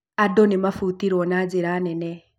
Andũ nĩmabutirwo na njĩra nene